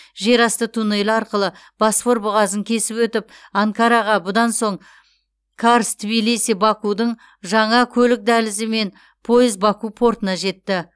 жерасты туннелі арқылы босфор бұғазын кесіп өтіп анкараға бұдан соң карс тбилиси бакудың жаңа көлік дәлізімен пойыз баку портына жетті